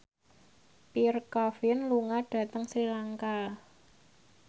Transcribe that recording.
Pierre Coffin lunga dhateng Sri Lanka